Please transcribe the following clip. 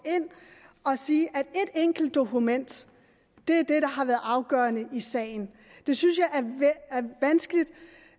og sige at et enkelt dokument er det har været afgørende i sagen det synes jeg er vanskeligt